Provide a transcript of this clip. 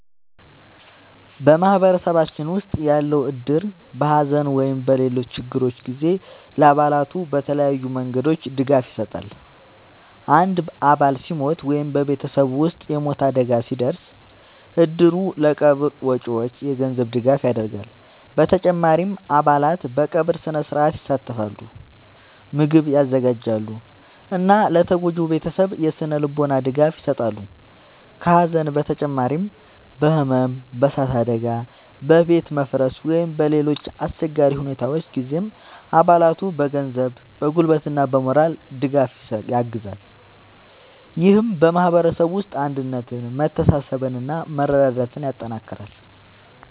በማህበረሰባችን ውስጥ ያለው እድር በሐዘን ወይም በሌሎች ችግሮች ጊዜ ለአባላቱ በተለያዩ መንገዶች ድጋፍ ይሰጣል። አንድ አባል ሲሞት ወይም በቤተሰቡ ውስጥ የሞት አደጋ ሲደርስ፣ እድሩ ለቀብር ወጪዎች የገንዘብ ድጋፍ ያደርጋል። በተጨማሪም አባላት በቀብር ሥነ-ሥርዓት ይሳተፋሉ፣ ምግብ ያዘጋጃሉ እና ለተጎጂው ቤተሰብ የሥነ-ልቦና ድጋፍ ይሰጣሉ። ከሐዘን በተጨማሪ በሕመም፣ በእሳት አደጋ፣ በቤት መፍረስ ወይም በሌሎች አስቸጋሪ ሁኔታዎች ጊዜም አባላቱን በገንዘብ፣ በጉልበት እና በሞራል ድጋፍ ያግዛል። ይህም በማህበረሰቡ ውስጥ አንድነትን፣ መተሳሰብን እና መረዳዳትን ያጠናክራል።